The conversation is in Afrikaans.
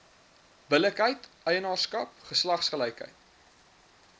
billikheid eienaarskap geslagsgelykheid